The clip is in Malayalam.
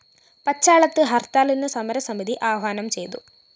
പച്ചാളത്ത് ഹര്‍ത്താലിന് സമരസമിതി ആഹ്വാനം ചെയ്തു